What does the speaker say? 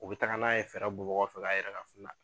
U be taga n'a ye fɛrɛ bɔbagaw fɛ k'a yɛrɛ kafu la